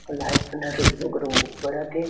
Light एकदम रुम्झुम्रु-म्झुम् बरत हे।